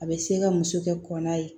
A bɛ se ka muso kɛ kɔnna ye